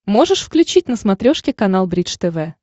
можешь включить на смотрешке канал бридж тв